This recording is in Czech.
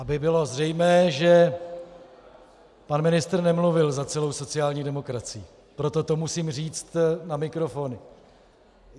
Aby bylo zřejmé, že pan ministr nemluvil za celou sociální demokracii, proto to musím říct na mikrofon.